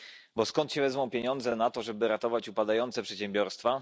Bo skąd wezmą się pieniądze na to, żeby ratować upadające przedsiębiorstwa?